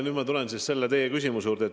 Nüüd ma tulen teie küsimuse juurde.